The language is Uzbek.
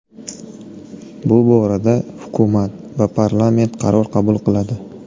Bu borada hukumat va parlament qaror qabul qiladi.